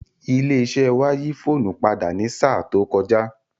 Ilé iṣẹ́ wa yí fóònù padà ní sáà tó kọjá